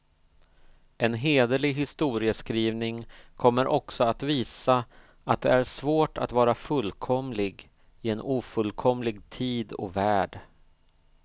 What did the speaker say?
En hederlig historieskrivning kommer också visa, att det är svårt att vara fullkomlig i en ofullkomlig tid och värld.